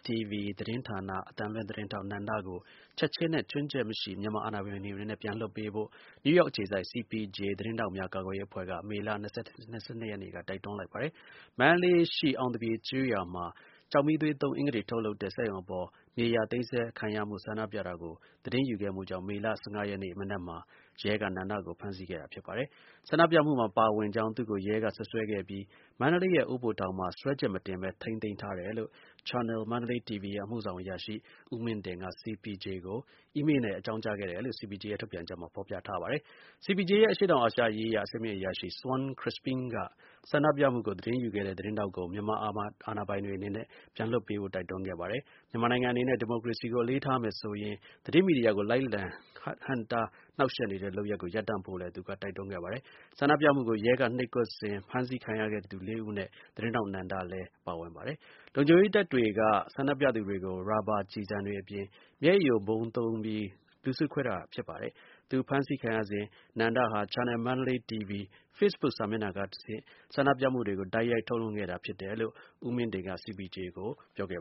TV သတင်းဌာန အသံလွှင့်သတင်းထောက် နန္ဒကို ချက်ခြင်းနဲ့ ခြွင်းချက်မရှိ မြန်မာအာဏာပိုင်တွေအနေနဲ့ ပြန်လွှတ်ပေးဖို့ နယူးယောက်အခြေစိုက် CPJ သတင်းထောက်များ ကာကွယ်ပေးရေး အဖွဲ့က မေလ ၂၂ ရက်နေ့က တိုက်တွန်းလိုက်ပါတယ်။ မန္တလေးရှိ အောင်သပြေကျေးရွာမှာ ကျောက်မီးသွေးသုံး အင်္ဂတေ ထုတ်လုပ်တဲ့ စက်ရုံအပေါ် မြေယာသိမ်းဆည်းခံရမှု ဆန္ဒပြတာကို သတင်းယူခဲ့မှုကြောင့် မေလ ၁၅ ရက်နေ့ မနက်မှာ ရဲက နန္ဒကို ဖမ်းဆီးခဲ့တာဖြစ်ပါတယ်။ ဆန္ဒပြမှုမှာ ပါဝင်ကြောင်း သူ့ကို ရဲ က စွပ်စွဲခဲ့ပြီး မန္တလေးရဲ့ အိုးဘိုထောင်မှာ စွဲချက်မတင်ဘဲ ထိန်းသိမ်းထားတယ်လို့ Channel Mandalay TV ရဲ့ အမှုဆောင်အရာရှိ ဦးမင်းဒင်က CPJ ကို အီးမေးလ်နဲ့ အကြောင်းကြားခဲ့တယ်လို့ CPJ ရဲ့ ထုတ်ပြန်ချက်မှာ ဖော်ပြထားပါတယ်။ CPJ ရဲ့ အရှေ့တောင်အာရှရေးရာ အဆင့်မြင့်အရာရှိ Shawn Crispin က ဆန္ဒပြမှုကို သတင်းယူခဲ့တဲ့ သတင်းထောက်ကို မြန်မာအာဏာပိုင်တွေ အနေနဲ့ ပြန်လွှတ်ပေးဖို့ တိုက်တွန်းခဲ့ပါတယ်။ မြန်မာနိုင်ငံအနေနဲ့ ဒီမိုကရေစီကို အလေးထားမယ်ဆိုရင် သတင်းမီဒီယာကို လိုက်လံ ဟန့်တားနှောင့်ယှက် နေတဲ့ လုပ်ရပ်ကို ရပ်တန့်ဖို့လည်း သူက တိုက်တွန်းခဲ့ပါတယ်။ ဆန္ဒပြမှုကို ရဲက နှိပ်ကွပ်စဉ် ဖမ်းဆီးခံခဲ့ရတဲ့လူ ၄ ဦးအနက် သတင်းထောက် နန္ဒလည်း ပါဝင်ပါတယ်။ လုံခြုံရေးတပ်တွေက ဆန္ဒပြသူတွေကို ရာဘာ ကျည်ဆံတွေ အပြင် မျက်ရည်ယိုဗုံး သုံးပြီး လူစုခွဲခဲ့တာ ဖြစ်ပါ တယ်။ သူ ဖမ်းဆီးခံရစဉ် နန္ဒဟာ Channel Mandalay TV Facebook စာမျက်နှာကတဆင့် ဆန္ဒပြမှုကို တိုက်ရိုက် ထုတ်လွှင့်ခဲ့တာ ဖြစ်တယ်လို့လည်း ဦးမင်းဒင်က CPJ ကို ပြောခဲ့